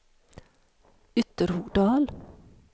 Ytterhogdal